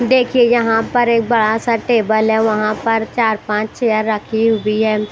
देखिए यहां पर एक बड़ा सा टेबल है वहां पर चार पांच चेयर रखी हुई है।